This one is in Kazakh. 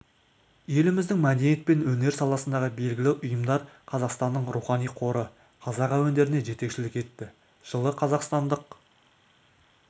еліміздің мәдениет пен өнер саласындағы белгілі ұйымдар қазақстанның рухани қоры қазақ әуендеріне жетекшілік етті жылы қазақстандық